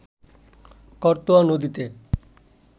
করতোয়া নদীতে